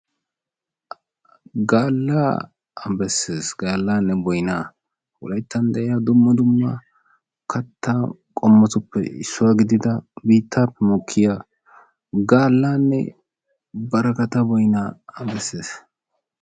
Gaalaa bessesi gaalane boynaa wolayttan de"iya barakkata giyo boyna besees.